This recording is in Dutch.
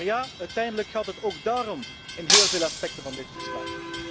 Maar ja, uiteindelijk gaat het ook daarom in heel veel aspecten van dit verslag.